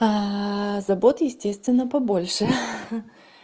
забот естественно побольше ха-ха